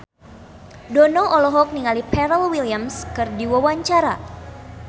Dono olohok ningali Pharrell Williams keur diwawancara